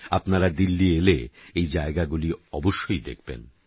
আপনারা দিল্লি এলে এই জায়গাগুলি অবশ্যই দেখবেন